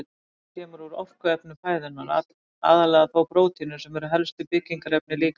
Orkan kemur úr orkuefnum fæðunnar, aðallega þó prótínum sem eru helstu byggingarefni líkamans.